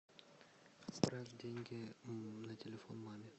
отправь деньги на телефон маме